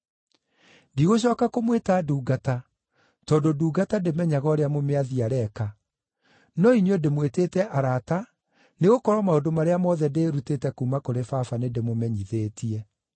Ndigũcooka kũmwĩta ndungata, tondũ ndungata ndĩmenyaga ũrĩa mũmĩathi areeka; no inyuĩ ndĩmwĩtĩte arata nĩgũkorwo maũndũ marĩa mothe ndĩĩrutĩte kuuma kũrĩ Baba nĩndĩmũmenyithĩtie.